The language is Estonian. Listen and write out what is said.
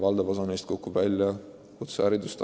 Valdav osa neist kukub välja kutsekoolis.